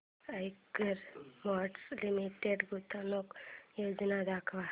Eicher Motors Limited गुंतवणूक योजना दाखव